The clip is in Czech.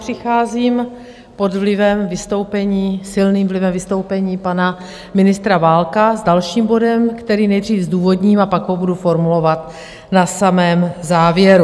Přicházím pod vlivem vystoupení, silným vlivem vystoupení pana ministra Válka s dalším bodem, který nejdřív zdůvodním a pak ho budu formulovat na samém závěru.